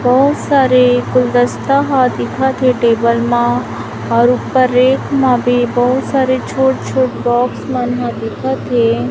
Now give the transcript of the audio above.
बहोत सारे गुलदस्ता हा दिखथे टेबल मा और ऊपर रैक मा भी बहुत सारे छोट छोट बॉक्स मन हा दिखथे।